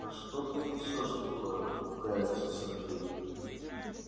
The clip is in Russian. да что ты несёшь такое пугается сергей